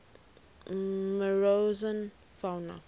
morrison fauna